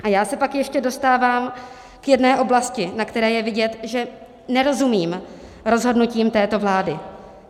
A já se pak ještě dostávám k jedné oblasti, na které je vidět, že nerozumím rozhodnutím této vlády.